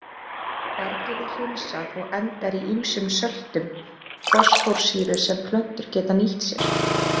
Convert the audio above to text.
Bergið er hreinsað og endar í ýmsum söltum fosfórsýru sem plöntur geta nýtt sér.